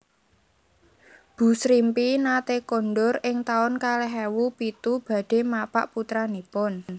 Bu Srimpi nate kondur ing taun kalih ewu pitu badhe mapak putranipun